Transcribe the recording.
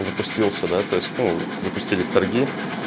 запустился да то есть ну запустились торги